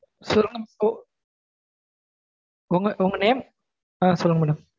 சொல்லுங்க உங்க உங்க name அஹ் சொல்லுங்க madam.